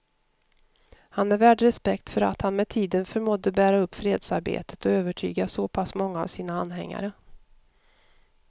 Han är värd respekt för att han med tiden förmådde bära upp fredsarbetet och övertyga så pass många av sina anhängare.